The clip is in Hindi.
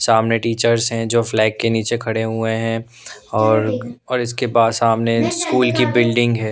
सामने टीचर्स हैं जो फ्लैग के नीचे खड़े हुए हैं और और इसके बाद सामने स्कूल की बिल्डिंग हैं।